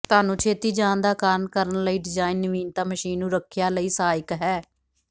ਤੁਹਾਨੂੰ ਛੇਤੀ ਜਾਣ ਦਾ ਕਾਰਨ ਕਰਨ ਲਈ ਡਿਜ਼ਾਇਨ ਨਵੀਨਤਾ ਮਸ਼ੀਨ ਨੂੰ ਰੱਖਿਆ ਲਈ ਸਹਾਇਕ ਹੈ